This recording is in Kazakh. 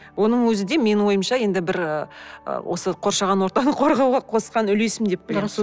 оның өзі де менің ойымша енді бір ы осы қоршаған ортаны қорғауға қосқан үлесім деп білемін дұрыс